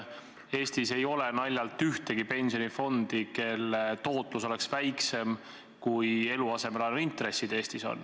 Eestis ei ole naljalt ühtegi pensionifondi, mille tootlus oleks väiksem, kui eluasemelaenu intressid Eestis on.